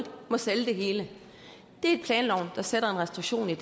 må sælge det hele det er planloven der sætter en restriktion der